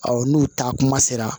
n'u taa kuma sera